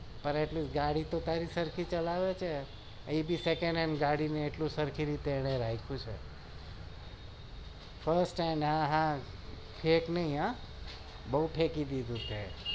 અરે એટલી ગાડી તો સરખી ચલાવે છે એબી second hand ગાડી નું સરખી રીતે